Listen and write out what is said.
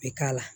U bɛ k'a la